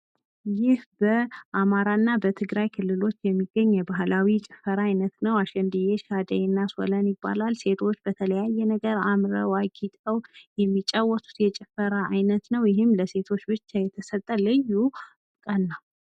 ይህ በአማራ እና በትግራይ ክልል ውስጥ የሚገኝ የባህላዊ ጭፈራ አይነት ነው። አሽዬ ሻደይ እና ሶለል ይባላል። ሴቶች በተለያየ ነገር አምረው አጊጠው የሚጫወቱት የጭፈራ አይነት ነው። ይህም ለሴቶች ብቻ የተሰጠ ልዩ ቀን ነው።